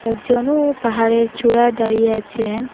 একজনও পাহাড়ের চূড়ায় দাঁড়িয়ে আছেন।